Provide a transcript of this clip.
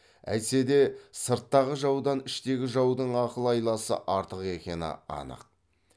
әйтсе де сырттағы жаудан іштегі жаудың ақыл айласы артық екені анық